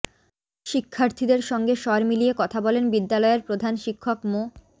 শিক্ষার্থীদের সঙ্গে স্বর মিলিয়ে কথা বলেন বিদ্যালয়ের প্রধান শিক্ষক মো